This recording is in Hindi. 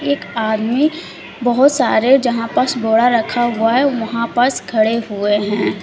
एक आदमी बहोत सारे जहां पर रखा हुआ है वहां पास खड़े हुए हैं।